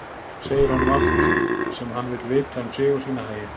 Segir honum allt sem hann vill vita um sig og sína hagi.